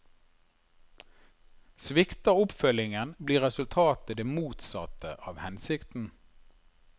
Svikter oppfølgingen, blir resultatet det motsatte av hensikten.